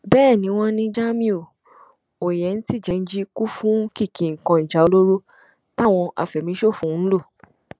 bẹẹ ni wọn ní jamiu oyentijẹnji kún fún kìkì nǹkan ìjà olóró táwọn afẹmíṣòfò ń lò